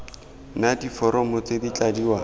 na diforomo tse di tladiwang